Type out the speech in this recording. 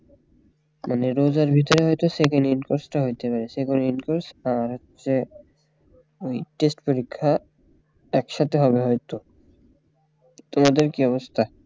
মানে রোজার ভিতরে হয়তো second in course টা হইতে পারে second in course আর হচ্ছে ওই test পরীক্ষা একসাথে হবে হয়তো তোমাদের কি অবস্থা